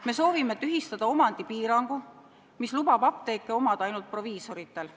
Me soovime tühistada omandipiirangu, mis lubab apteeke omada ainult proviisoritel.